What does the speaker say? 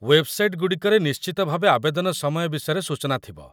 website ଗୁଡ଼ିକରେ ନିଶ୍ଚିତ ଭାବେ ଆବେଦନ ସମୟ ବିଷୟରେ ସୂଚନା ଥିବ